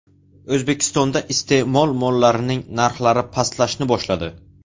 O‘zbekistonda iste’mol mollarining narxlari pastlashni boshladi.